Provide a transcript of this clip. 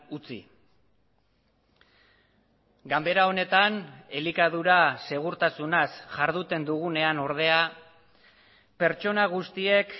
utzi ganbera honetan elikadura segurtasunaz jarduten dugunean ordea pertsona guztiek